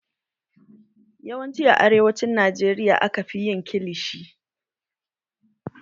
Yawancin a arewacin Najeriya aka fi yin kilishi